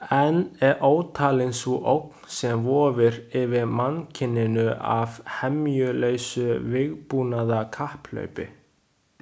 Enn er ótalin sú ógn sem vofir yfir mannkyninu af hemjulausu vígbúnaðarkapphlaupi.